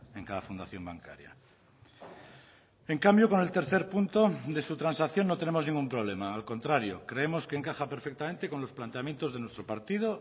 en cada fundación bancaria en cambio con el tercer punto de su transacción no tenemos ningún problema al contrario creemos que encaja perfectamente con los planteamientos de nuestro partido